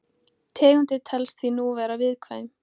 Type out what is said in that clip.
Tegundin telst því nú vera viðkvæm.